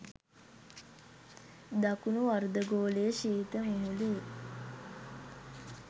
දකුණු අර්ධගෝලයේ ශීත මුහුදේ